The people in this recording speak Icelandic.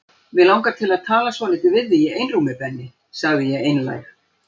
Mig langar til að tala svolítið við þig í einrúmi Benni sagði ég einlæg.